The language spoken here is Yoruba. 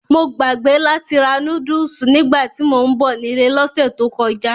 Mo gbàgbé láti ra núdùsù nígbàtí mò ń bọ̀ nílé lọ́sẹ̀ tó kọjá.